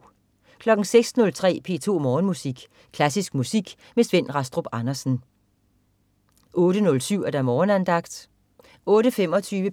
06.03 P2 Morgenmusik. Klassisk musik med Svend Rastrup Andersen 08.07 Morgenandagten 08.25